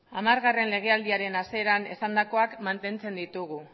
hamargarrena legealdiaren hasieran esandakoak mantentzen ditugu